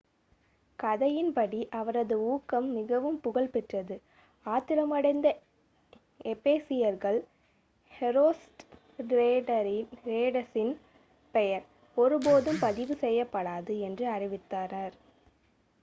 கதையின் படி அவரது ஊக்கம் மிகவும் புகழ் பெற்றது ஆத்திரமடைந்த எபேசியர்கள் ஹெரோஸ்ட்ரேடஸின் பெயர் ஒருபோதும் பதிவு செய்யப்படாது என்று அறிவித்தனர்